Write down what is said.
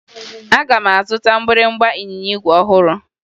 Aga m azụta mgbịrịmgba ịnyịnya igwe ọhụrụ